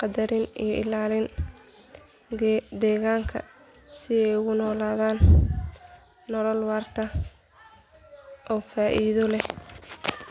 qadarin iyo ilaalin deegaanka si ay ugu noolaadaan nolol waarta oo faa'iido leh